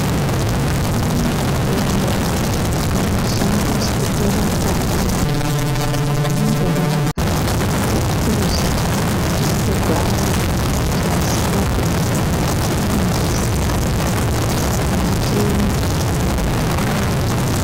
Kwaane mitombo inoshandiswe kurapa vaya vanenge varya, kupuza nekugwama chusingapindirani nengazi yake. Ngatiende totenga.